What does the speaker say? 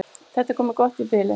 Þetta er komið gott í bili.